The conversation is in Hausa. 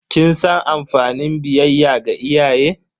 Kin san amfanin biyayya ga iyaye?